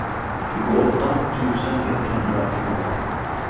tjugoåtta tusen etthundratjugofem